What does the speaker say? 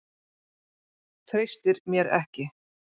Treystir mér ekki.